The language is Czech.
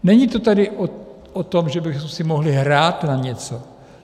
Není to tedy o tom, že bychom si mohli hrát na něco.